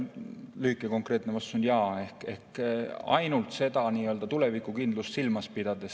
Lühike ja konkreetne vastus on jaa, aga ehk ainult seda nii-öelda tulevikukindlust silmas pidades.